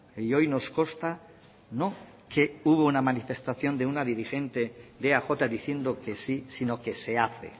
y hoy nos consta no que no hubo una manifestación de una dirigente de eaj diciendo que sí sino que se hace